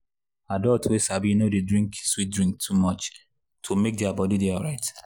adults wey sabi no dey drink sweet drink too much to make their body dey alright.